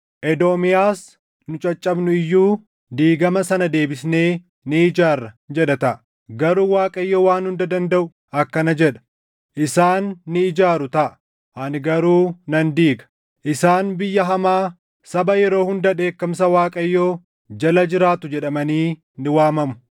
Edoomiyaas, “Nu caccabnu iyyuu, diigama sana deebisnee ni ijaarra” jedha taʼa. Garuu Waaqayyo Waan Hunda Dandaʼu akkana jedha: “Isaan ni ijaaru taʼa; ani garuu nan diiga. Isaan Biyya Hamaa, saba yeroo hunda dheekkamsa Waaqayyoo jala jiraatu jedhamanii ni waamamu.